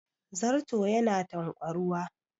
Zarto yana tanƙwaruwa